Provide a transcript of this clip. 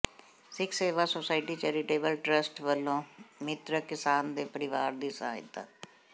ਸਿੱਖ Seva society charitable trust ਵਲੋਂ ਮਿ੍ਤਕ ਕਿਸਾਨ ਦੇ ਪਰਿਵਾਰ ਦੀ ਸਹਾਇਤਾ